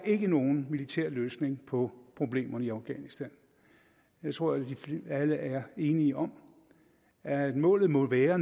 er nogen militær løsning på problemerne i afghanistan jeg tror at alle er enige om at målet nu må være